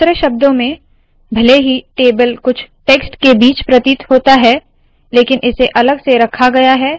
दूसरे शब्दों में भले ही टेबल कुछ टेक्स्ट के बीच प्रतीत होता है लेकिन इसे अलग से रखा गया है